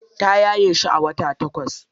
Ta yaye shi a wata takwas.